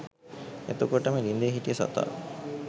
එතකොටම ළිඳේ හිටිය සතා